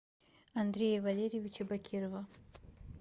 андрея валерьевича бакирова